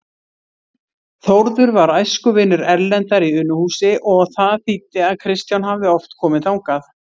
Þórður var æskuvinur Erlendar í Unuhúsi og það þýddi að Kristján hafði oft komið þangað.